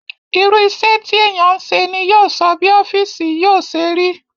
Irú isẹ́ tí èèyàn ń se ni yóò sọ bí ọ́fìsì yóò ṣe rí